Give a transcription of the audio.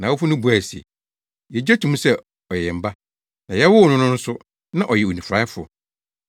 Nʼawofo no buae se, “Yegye to mu sɛ ɔyɛ yɛn ba, na yɛwoo no no nso, na ɔyɛ onifuraefo.